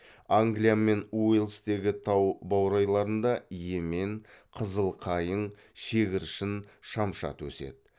англия мен уэльстегі тау баурайларында емен қызыл қайың шегіршін шамшат өседі